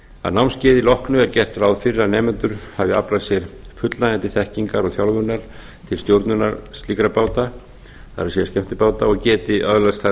að námskeiði loknu er gert ráð fyrir að nemendur hafi aflað sér fullnægjandi þekkingar og þjálfunar til stjórnunar slíkra báta það er skemmtibáta og geti öðlast þar